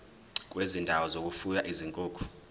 kwezindawo zokufuya izinkukhu